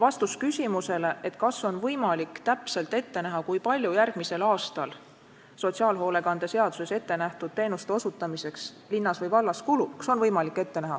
On küsitud, kas on võimalik täpselt ette näha, kui palju järgmisel aastal sotsiaalhoolekande seaduses ette nähtud teenuste osutamiseks linnas või vallas kulub.